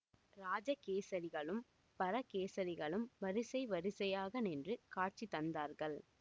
இராஜ கேசரிகளும் பரகேசரிகளும் வரிசை வரிசையாக நின்று காட்சி தந்தார்கள்